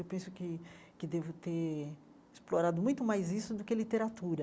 Eu penso que que devo ter explorado muito mais isso do que literatura.